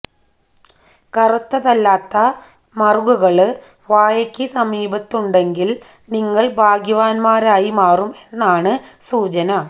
കറുത്തതല്ലാത്ത മറുകുകള് വായയ്ക്ക് സമീപമുണ്ടെങ്കില് നിങ്ങള് ഭാഗ്യവാന്മാരായി മാറും എന്നാണ് സൂചന